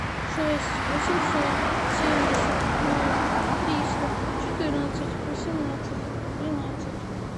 шесть восемьсот семьдесят ноль триста четырнадцать восемнадцать тринадцать